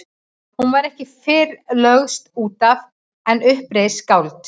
Hún var ekki fyrr lögst út af en upp reis skáld.